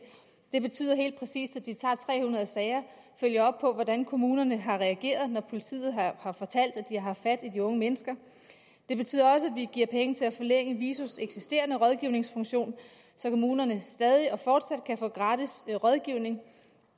det betyder helt præcist at de tager tre hundrede sager og følger op på hvordan kommunerne har reageret når politiet har fortalt at har haft fat i de unge mennesker det betyder også at vi giver penge til at forlænge visos eksisterende rådgivningsfunktion så kommunerne stadig og fortsat kan få gratis rådgivning